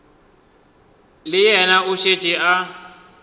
le yena o šetše a